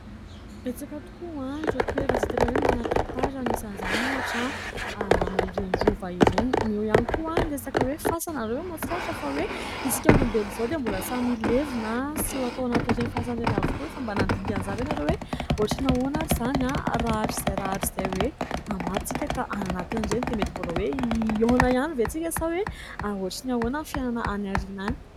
Betsaka tokoa ireo toerana izay tena hoe manan- tatara anisan' izany ohatra any amin' ireny rova ireny. Eo ihany koa ny resaka hoe fasana. Ianareo ve mahatsikaritra fa hoe isika olombelona izao dia mbola samy hilevina sy atao anatin' ireny fasana ireny avokoa. Efa mba nandinika izany ve ianareo hoe ohatran' ny ahoana ary izany, rahatrizay hoe maty isika ka ay anatin'ireny. Dia mety mbola hoe hihaona ihany ve isika sa hoe ahoana sy ahoana ny fiainana any aoriana any.